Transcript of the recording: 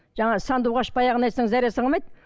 жаңа сандуғаш баяғыны айтсаң зәресі қалмайды